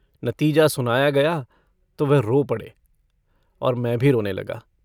नतीजा सुनाया गया तो वह रो पड़े और मैं भी रोने लगा।